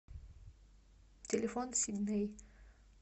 телефон сидней